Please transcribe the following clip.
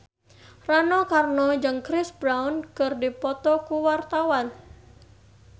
Rano Karno jeung Chris Brown keur dipoto ku wartawan